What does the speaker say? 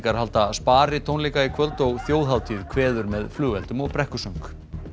halda sparitónleika í kvöld og þjóðhátíð kveður með flugeldum og brekkusöng